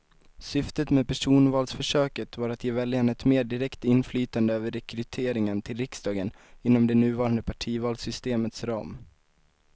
Syftet med personvalsförsöket var att ge väljarna ett mer direkt inflytande över rekryteringen till riksdagen inom det nuvarande partivalssystemets ram.